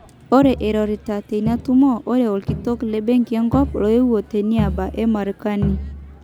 Ore eirorita tina tumo ore orkitok le benki enkop loyewuo teniaba e Marekani.